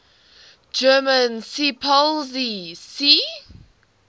german seepolizei sea